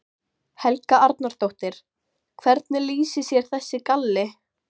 Helga Arnardóttir: Hvernig lýsir sér þessi galli?